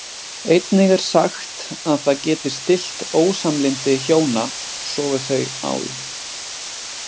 Einnig er sagt að það geti stillt ósamlyndi hjóna sofi þau á því.